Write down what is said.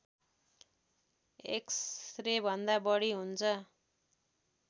एक्सरेभन्दा बढी हुन्छ